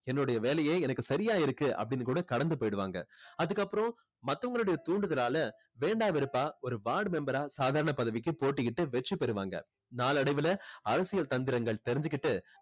என்னுடைய வேலையே எனக்கு சரியா இருக்கு அப்படின்னு கூட கடந்து போயிடுவாங்க. அதுக்கப்புறம் மத்தவங்களுடைய தூண்டுதலால வேண்டா வெறுப்பா ஒரு ward member ஆ சாதாரண பதவிக்கு போட்டியிட்டு வெற்றி பெறுவாங்க. நாளடைவுல அரசியல் தந்திரங்கள் தெரிஞ்சுக்கிட்டு